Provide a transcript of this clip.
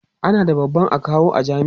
ana da babban akawu a jami'a